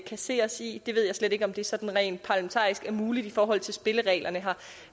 kan se os i jeg ved slet ikke om det sådan rent parlamentarisk er muligt i forhold til spillereglerne